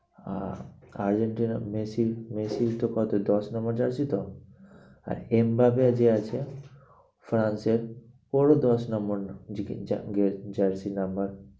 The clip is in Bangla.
আহ আর্জেন্টিনা মেসি মেসির তো কত দশ নম্বর jersey তো? আর এমবাপে যে আছে ফ্রান্স এর ওরও দশ নম্বর jersey number